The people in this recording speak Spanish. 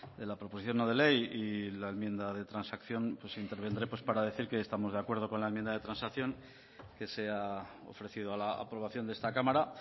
de la proposición no de ley y la enmienda de transacción pues intervendré para decir que estamos de acuerdo con la enmienda de transacción que se ha ofrecido a la aprobación de esta cámara